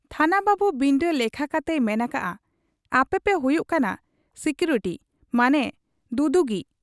ᱛᱷᱟᱱᱟ ᱵᱟᱹᱵᱩ ᱵᱤᱱᱰᱟᱹ ᱞᱮᱠᱷᱟ ᱠᱟᱛᱮᱭ ᱢᱮᱱ ᱟᱠᱟᱜ ᱟ, 'ᱟᱯᱮᱯᱮ ᱦᱩᱭᱩᱜ ᱠᱟᱱᱟ ᱥᱤᱠᱩᱨᱤᱴᱤ ᱢᱟᱱᱮ ᱫᱩᱫᱩᱜᱤᱡ ᱾